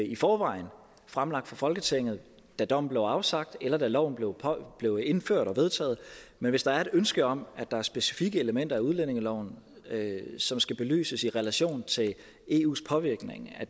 i forvejen fremlagt for folketinget da dommen blev afsagt eller da loven blev indført og vedtaget men hvis der er et ønske om at der er specifikke elementer af udlændingeloven som skal belyses i relation til eus påvirkning af